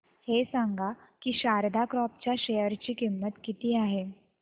हे सांगा की शारदा क्रॉप च्या शेअर ची किंमत किती आहे